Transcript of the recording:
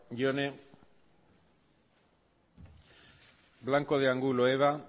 jone blanco de angulo eva